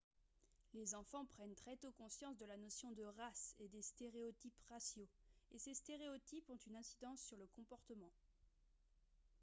les enfants prennent très tôt conscience de la notion de race et des stéréotypes raciaux et ces stéréotypes ont une incidence sur le comportement